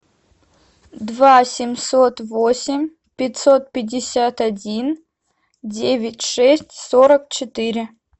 два семьсот восемь пятьсот пятьдесят один девять шесть сорок четыре